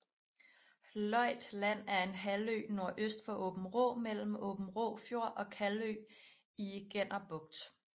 Løjt Land er en halvø nordøst for Aabenraa mellem Aabenraa Fjord og Kalvø i Genner Bugt